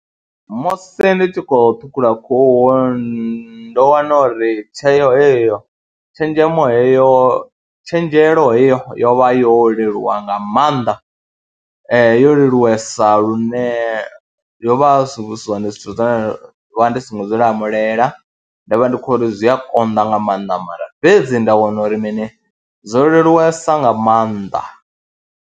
Musi ndi tshi khou ṱhukhula khuhu ndo wana uri tsheo heyo, tshenzhemo heyo, tshenzhelo heyo yo vha yo leluwa nga maanḓa yo leluwa sa lune yo vha zwi si zwone zwithu zwe nda vha ndi songo zwi lamulela, ndo vha ndi khou ri zwi a konḓa nga maanḓa mara fhedzi nda wana uri mini zwo leluwesa nga maanḓa.